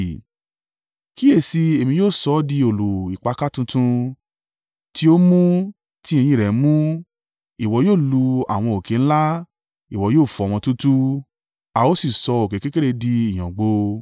“Kíyèsi, Èmi yóò sọ ọ́ di òòlù ìpakà tuntun, tí ó mú ti eyín rẹ̀ mú, ìwọ yóò lu àwọn òkè ńlá, ìwọ yóò fọ́ wọn túútúú, a ó sì sọ òkè kékeré di ìyàngbò.